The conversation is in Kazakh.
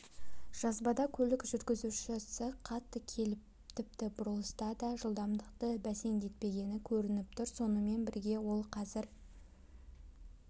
жазбада көлік жүргізушісі қатты келіп тіпті бұрылыста да жылдамдықты бәсеңдетпегені көрініп тұр сонымен бірге ол қазір